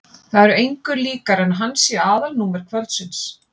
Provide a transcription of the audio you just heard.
Það er engu líkara en hann sé aðalnúmer kvöldsins.